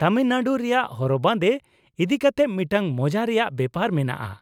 ᱛᱟᱹᱢᱤᱞᱱᱟᱹᱲᱩ ᱨᱮᱭᱟᱜ ᱦᱚᱨᱚᱜ ᱵᱟᱸᱫᱮ ᱤᱫᱤᱠᱟᱛᱮ ᱢᱤᱫᱴᱟᱝ ᱢᱚᱡᱟ ᱨᱮᱭᱟᱜ ᱵᱮᱯᱟᱨ ᱢᱮᱱᱟᱜᱼᱟ ᱾